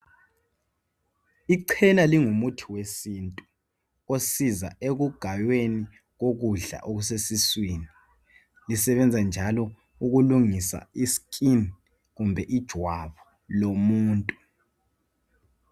Icena lingumuthi wesintu osiza ekugayweni ukudla okuseswini. Lisebenza njalo ukulungisa iskin kumbe ijwabu lomuntu.